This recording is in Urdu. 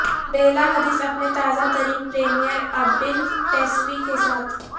بیلا حدیث اپنے تازہ ترین پریمیئر ابیل ٹیسفی کے ساتھ